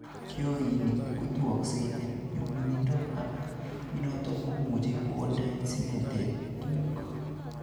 Kionik kotuoseksei en nyumnyumindo ak noton komuch kondee simetet tuguk.